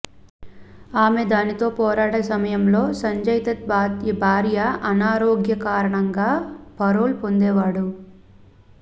ఆమె దానితో పోరాడే సమయంలో సంజయ్దత్ భార్య అనారోగ్య కారణంగా పరోల్ పొందేవాడు